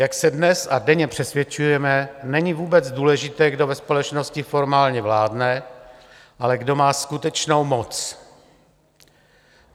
Jak se dnes a denně přesvědčujeme, není vůbec důležité, kdo ve společnosti formálně vládne, ale kdo má skutečnou moc.